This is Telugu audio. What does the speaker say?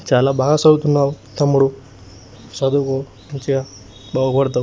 చాలా బాగా చదువుతున్నావ్ తమ్ముడు చదువు మంచిగా బాగు పడతావ్.